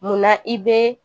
Mun na i be